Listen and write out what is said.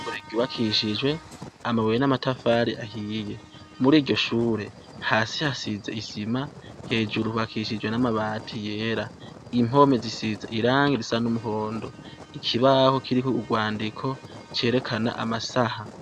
Ishure ryubakishje amabuye n'amatafari ahiye muri iryo shure hasi hasize isima hejuru hubakishije n'amabati yera impome zisize irangi risa n'umuhondo ikibaho kiriko urwandiko cerekana amasaha.